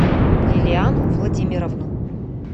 лилиану владимировну